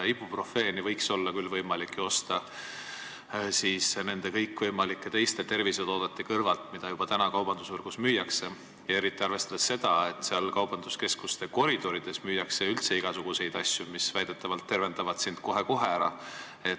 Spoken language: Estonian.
Ibuprofeeni võiks olla küll ju võimalik osta kõigi teiste võimalike tervisetoodete kõrvalt, mida praegu juba kaubandusvõrgus müüakse, eriti arvestades seda, et kaubanduskeskuste koridorides müüakse üldse igasuguseid asju, mis väidetavalt tervendavad otsekohe.